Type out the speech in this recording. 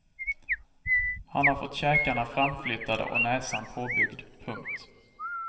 Han har fått käkarna framflyttade och näsan påbyggd. punkt